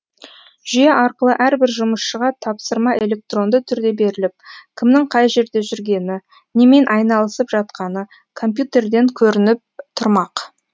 жүйе арқылы әрбір жұмысшыға тапсырма электронды түрде беріліп кімнің қай жерде жүргені немен айналысып жатқаны компьютерден көрініп тұрмақ